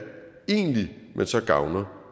egentlig man så gavner